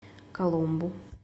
коломбу